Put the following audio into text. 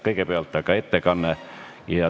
Kõigepealt aga ettekanne.